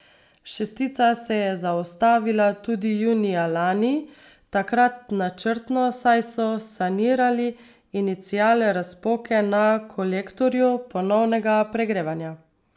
Šestica se je zaustavila tudi junija lani, takrat načrtno, saj so sanirali inicial razpoke na kolektorju ponovnega pregrevanja.